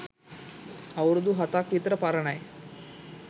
අවුරුදු හතක් විතර පරණයි